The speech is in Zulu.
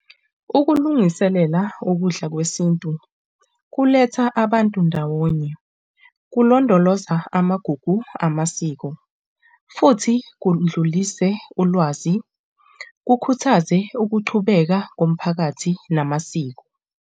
Ukulungiselela ukudla kwesintu kuletha abantu ndawonye, kulondoloza amagugu amasiko futhi kudlulise ulwazi, kukhuthaze ukuqhubeka komphakathi namasiko.